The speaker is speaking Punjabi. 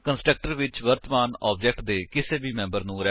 ਕੰਸਟਰਕਟਰ ਵਿੱਚ ਵਰਤਮਾਨ ਆਬਜੇਕਟ ਲਈ ਥਿਸ ਇੱਕ ਰੈਫਰੇਂਸ ਹੈ